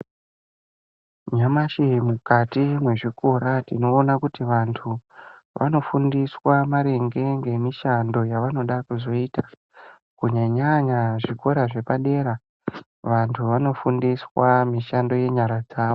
Nyamashi mukati mwezvikora ,tinoona kuti vantu ,vanofundiswa maringe ngemishando yavanoda kuzoita, kunyanya-nyanya zvikora zvepadera. Vantu vanofundiswa mishando yenyara dzavo.